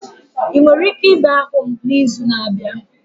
Ị nwere ike ịbịa hụ m n'izu na-abịa?